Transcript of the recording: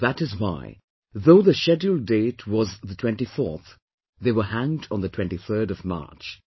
That is why, though the scheduled date was the 24th, they were hanged on the 23rd of March